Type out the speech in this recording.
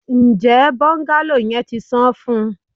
Njẹ bungalow yẹn ti san fun?